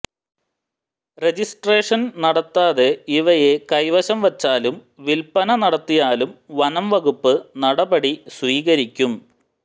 registration നടത്താതെ ഇവയെ കൈവശം വെച്ചാലും വില്പന നടത്തിയാലും വനം വകുപ്പ് നടപടി സ്വീകരിക്കും